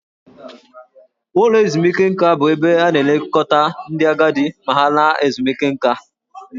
Ụlọ ezumike nka bụ ebe a na-elekọta ndị agadi ma ha laa ezumike nká.